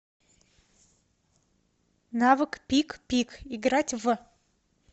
навык пикпик играть в